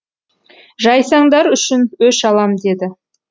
жайсаңдар үшін өш алам деді